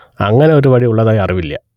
അങ്ങനെ ഒരു വഴി ഉള്ളതായി അറിവില്ല